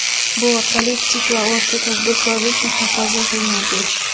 Bu orqali kichik va o‘rta tadbirkorlik muhofaza qilinadi.